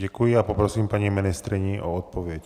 Děkuji a poprosím paní ministryni o odpověď.